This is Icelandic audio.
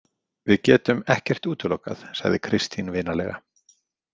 Við getum ekkert útilokað, sagði Kristín vinalega.